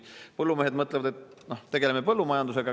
Põllumehed mõtlevad, et nad tegelevad põllumajandusega.